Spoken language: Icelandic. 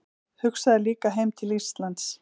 Hugsaði líka heim til Íslands.